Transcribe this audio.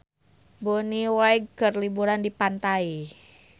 Bonnie Wright keur liburan di pantai